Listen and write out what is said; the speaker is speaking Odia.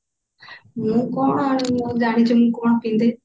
ମୁଁ କଣ ଆଁ ଜାଣିଛୁ ମୁଁ କଣ ପିନ୍ଧେ